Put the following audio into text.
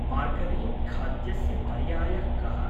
मार्गरीन्‌खाद्यस्य पर्यायः कः?